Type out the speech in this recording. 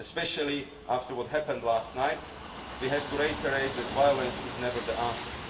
course. Especially after what happened last night, we have to reiterate that violence is never the